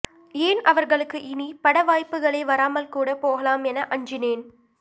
ஏன் அவர்களுக்கு இனி பட வாய்ப்புகளே வராமல் கூட போகலாம் என அஞ்சினேன்